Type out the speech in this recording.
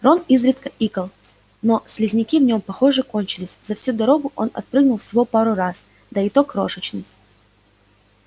рон изредка икал но слизняки в нём похоже кончились за всю дорогу он отрыгнул всего пару раз да и то крошечный